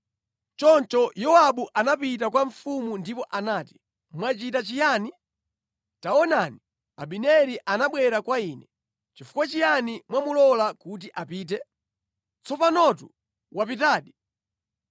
Choncho Yowabu anapita kwa mfumu ndipo anati, “Mwachita chiyani? Taonani, Abineri anabwera kwa inu. Nʼchifukwa chiyani mwamulola kuti apite? Tsopanotu wapitadi!